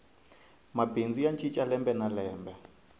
mabindzu ya cinca lembe na lembe